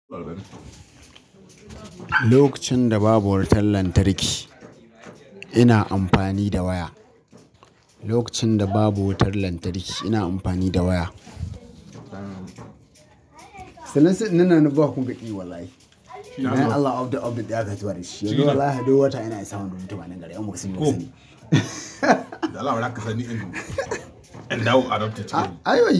Lokacin da babu wutar lantarki, ina amfani da waya. Lokacin da babu wutar lantarki, ina amfani da waya. Nawa kun ga ɗi wallahi? Nan Allah of the of the day aka tura shi. Yanzu Allah ya doya wata yana isan wani rubutu ba nan gari. An maksi maksi ne. Allah ya daka sani in dawo a dauka tatti.